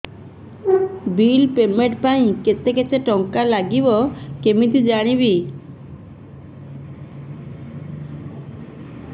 bill payment ପାଇଁ କେତେ କେତେ ଟଙ୍କା ଲାଗିବ କେମିତି ଜାଣିବି